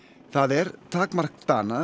það er takmark Dana